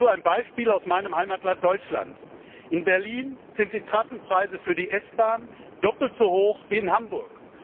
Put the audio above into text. Dazu ein Beispiel aus meinem Heimatland Deutschland In Berlin sind die Trassenpreise für die S Bahn doppelt so hoch wie in Hamburg.